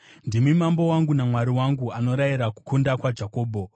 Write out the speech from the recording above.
Ndimi Mambo wangu naMwari wangu, anorayira kukunda kwaJakobho.